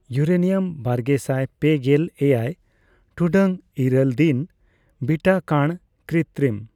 uranium ᱵᱟᱨᱜᱮᱥᱟᱭ ᱯᱮᱜᱮᱞ ᱮᱭᱟᱭ ᱴᱩᱰᱟᱹᱜ ᱤᱨᱟᱹᱞ ᱫᱤᱱ ᱵᱤᱴᱟ ᱠᱟᱬᱼᱼᱠᱨᱤᱛᱨᱤᱢ